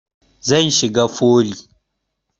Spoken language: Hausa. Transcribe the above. Zan shiga foli